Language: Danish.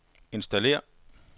installér